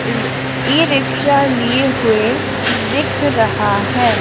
अर e rickshaw लिए हुए दिख रहा है।